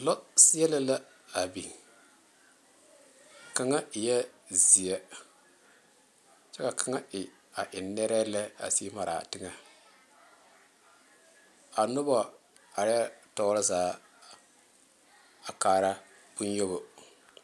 Lɔ sele la a biŋ kaŋa eɛ ziɛ kyɛ ka kaŋa e a e nare lɛ a sige mara teŋa a noba are tɔɔre zaa a kaara bonyoba.